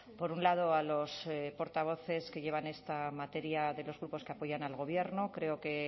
por un lado a los portavoces que llevan esta materia de los grupos que apoyan al gobierno creo que